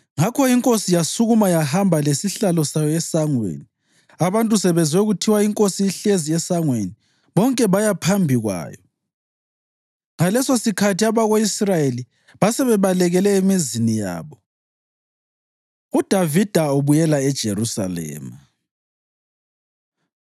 Ngakho inkosi yasukuma yahamba lesihlalo sayo esangweni. Abantu sebezwe kuthiwa, “Inkosi ihlezi esangweni,” bonke baya phambi kwayo. Ngalesosikhathi abako-Israyeli basebebalekele emizini yabo. UDavida Ubuyela EJerusalema